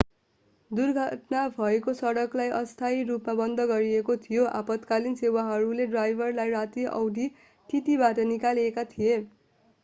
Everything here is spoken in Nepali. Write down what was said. दुर्घटना भएको सडकलाई अस्थायी रूपमा बन्द गरिएको थियो आपतकालीन सेवाहरूले ड्राइभरलाई रातो औडी tt बाट निकालेका थिए